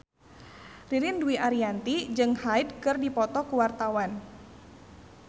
Ririn Dwi Ariyanti jeung Hyde keur dipoto ku wartawan